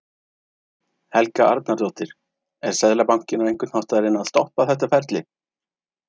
Helga Arnardóttir: Er Seðlabankinn á einhvern hátt að reyna að stoppa þetta ferli?